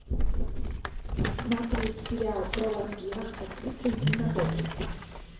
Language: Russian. смотреть сериал про вампиров с актрисой нина добрев